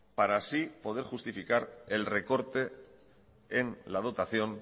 para así poder justificar el recorte en la dotación